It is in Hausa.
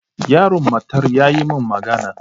Yaron matar yayi min magana.